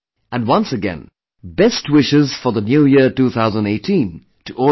And once again, best wishes for the New Year 2018 to all of you